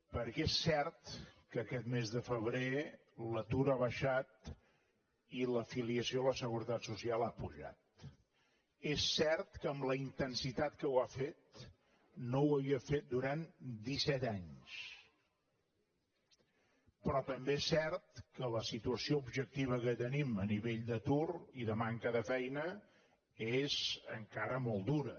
perquè és cert que aquest mes de febrer l’atur ha baixat i la filiació a la seguretat social ha pujat és cert que amb la intensitat que ho ha fet no ho havia fet durant disset anys però també és cert que la situació objectiva que tenim a nivell d’atur i de manca de feina és encara molt dura